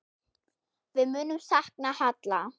Við munum sakna Halla.